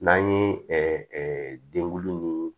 N'an ye dengulu ni